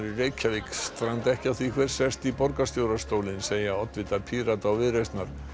í Reykjavík stranda ekki á því hver sest í borgarstjórastólinn segja oddvitar Pírata og Viðreisnar